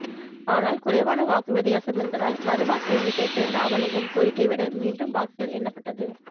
ஆனால் குறைவான வாக்கு வித்தியாசம் என்பதால் மறு வாக்கு எண்ணிக்கைக்கு ராமலிங்கம் கோரிக்கை விட மீண்டும் வாக்குகள் எண்ணப்பட்டது